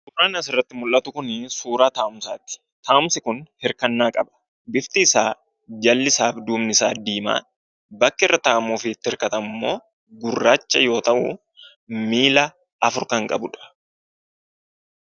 Suuraa kanaa gadii irratti kan argamu suuraa teessumaati. Teessumni kun irkoo kan qabuu dha. Jalli isaa fi duubni isaa diimaa yammuu ta'u, bakki irra taa'amu immoo gurraachaa dha. Innis miillaa afur kan qabuu dha.